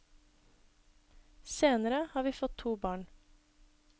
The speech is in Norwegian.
Senere har vi fått to barn.